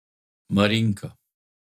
Marinka.